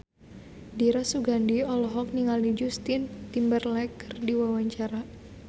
Dira Sugandi olohok ningali Justin Timberlake keur diwawancara